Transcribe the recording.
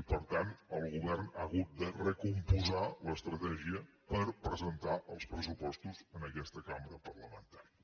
i per tant el govern ha hagut de recompondre l’estratègia per presentar els pressupostos en aquesta cambra parlamentària